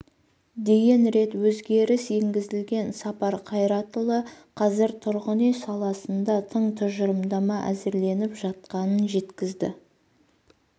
дейін рет өзгеріс енгізілген сапар қайратұлы қазір тұрғын үй саласында тың тұжырымдама әзірленіп жатқанын жеткізді